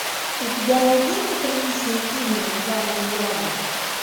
у тебя найдется приличный фильм в жанре драма